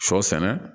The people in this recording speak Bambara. Sɔ sɛnɛ